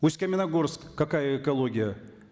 усть каменогорск какая экология